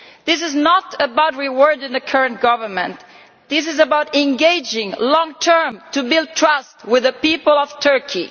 This is not about rewarding the current government it is about engaging long term to build trust with the people of Turkey.